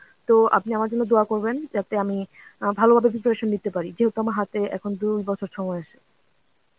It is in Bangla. তো আপনি আমার জন্য দোয়া করবেন, যাতে আমি অ্যাঁ ভালোভাবে preparation নিতে পারি. যেহেতু আমার হাতে এখন দুই বছর সময় আছে.